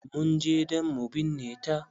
Mun je dan mu binne ta.